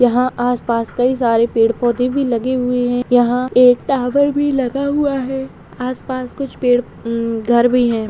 यहाँ आस-पास कई सारे पेड़-पौधे भी लगे हुए है यहाँ एक टॉवर भी लगा हुआ है आस-पास कुछ पेड़ घर भी है।